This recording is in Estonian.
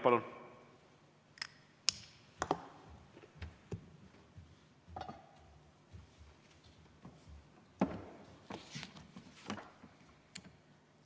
Palun!